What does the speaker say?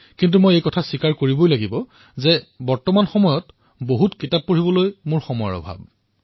কিন্তু এটা কথা কবই লাগিব যে এইকেইদিন মই গ্ৰন্থ অধ্যয়ন কৰিবলৈ বিশেষ সময় পোৱা নাই